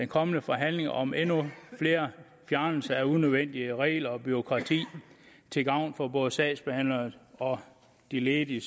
kommende forhandling om endnu flere fjernelser af unødvendige regler og bureaukrati til gavn for både sagsbehandlerne og de ledige